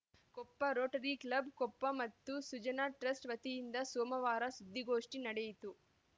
Koppa Rotary club Koppa ಮತ್ತು Sujana trust ವತಿಯಿಂದ ಸೋಮವಾರ ಸುದ್ದಿಗೋಷ್ಠಿ ನಡೆಯಿತು